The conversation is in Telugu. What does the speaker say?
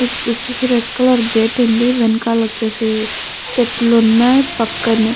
వచ్చేసి రెడ్ కలర్ గేట్ ఉంది వెనకాల వచ్చేసి చెట్లు ఉన్నాయి పక్కనే --